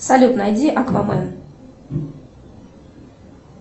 салют найди аквамэн